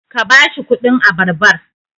ka ba shi kudin abarbar!